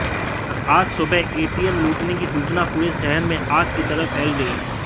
आज सुबह एटीएम लूटने की सूचना पूरे शहर में आग की तरह फैल गई